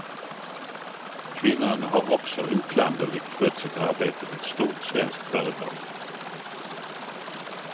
Kvinnan har också oklanderligt skött sitt arbete vid ett stort svenskt företag.